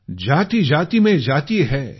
जातीजाती में जाती है